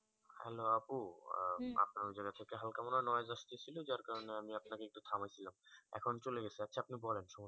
hello আপু আপনার হালকা মনে হয় noise আসতেছিল যার কারণে আমি আপনা কে একটু থামিয়েছিলাম এখন চলে গেছে আচ্ছা আপনি বলেন